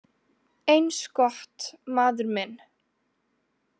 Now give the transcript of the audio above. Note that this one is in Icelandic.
Eins gott, maður minn